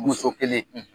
Muso kelen